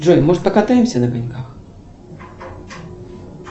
джой может покатаемся на коньках